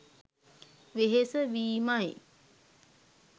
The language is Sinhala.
වෙහෙස වීම යි.